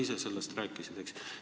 Sa ise rääkisid sellest.